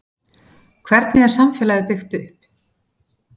Hvernig er samfélagið byggt upp?